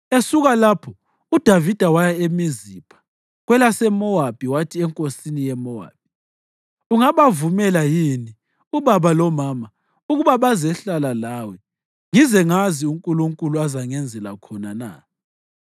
Esuka lapho uDavida waya eMizipha kwelaseMowabi wathi enkosini ye-Mowabi, “Ungabavumela yini ubaba lomama ukuba bazehlala lawe ngize ngazi uNkulunkulu azangenzela khona na?”